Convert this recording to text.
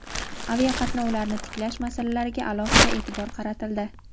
aviaqatnovlarni tiklash masalalariga alohida e’tibor qaratildi.